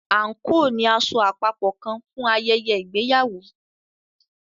anko ní aṣọ àpapọ kán fún ayẹyẹ ìgbéyàwó.